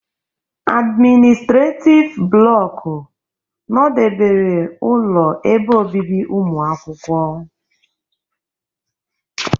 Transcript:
admịnịstretif blọku nọdebere ụlọ ebe obibi ụmụakwụkwọ.